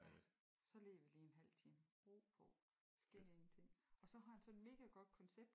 Ja så ligger lige vi en halv time ro på sker ingenting og så har han sådan et megagodt koncept